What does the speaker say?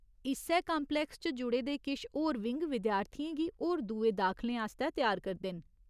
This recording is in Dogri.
इस्सै कांप्लैक्स च जुड़े दे किश होर विंग विद्यार्थियें गी होर दूए दाखलें आस्तै त्यार करदे न।